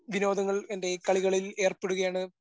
വിനോദങ്ങളിൽ എൻ്റെ കളികളിൽ ഏർപ്പെടുകയാണ്